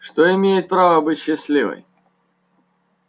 что имеет право быть счастливой